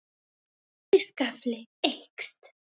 Fiskafli eykst